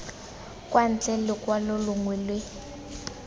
kwa ntle lokwalo longwe le